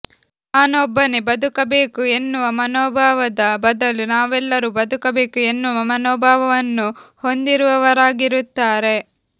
ನಾನೊಬ್ಬನೇ ಬದುಕಬೇಕು ಎನ್ನುವ ಮನೋಭಾವದ ಬದಲು ನಾವೆಲ್ಲರೂ ಬದುಕಬೇಕು ಎನ್ನುವ ಮನೋಭಾವವನ್ನು ಹೊಂದಿರುವವರಾಗಿರುತ್ತಾರೆ